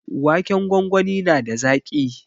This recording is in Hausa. Waken gwangwani na da zaƙi.